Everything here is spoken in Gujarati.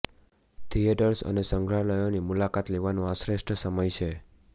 થિએટર્સ અને સંગ્રહાલયોની મુલાકાત લેવાનું આ શ્રેષ્ઠ સમય છે